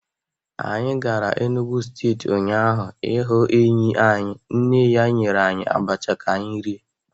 Anyị gara Enugwu steeti ụnyaahụ ịhụ enyi anyị, nne ya nyere anyị abacha ka anyị rie.